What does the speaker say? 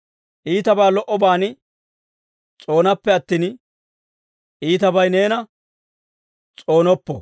Iitabaa lo"obaan s'oonappe attin, iitabay neena s'oonoppo.